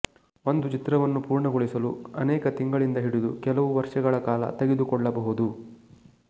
ಒಂದು ಚಿತ್ರವನ್ನು ಪೂರ್ಣಗೊಳಿಸಲು ಅನೇಕ ತಿಂಗಳಿಂದ ಹಿಡಿದು ಕೆಲವು ವರ್ಷಗಳ ಕಾಲ ತೆಗೆದುಕೊಳ್ಳಬಹುದು